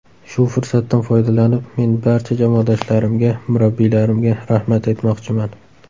Shu fursatdan foydalanib, men barcha jamoadoshlarimga, murabbiylarimga rahmat aytmoqchiman.